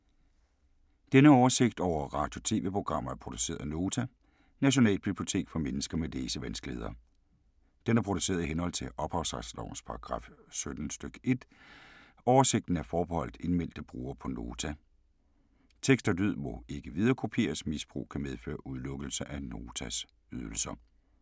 Denne oversigt over radio og TV-programmer er produceret af Nota, Nationalbibliotek for mennesker med læsevanskeligheder. Den er produceret i henhold til ophavsretslovens paragraf 17 stk. 1. Oversigten er forbeholdt indmeldte brugere på Nota. Tekst og lyd må ikke viderekopieres. Misbrug kan medføre udelukkelse fra at bruge Notas ydelser.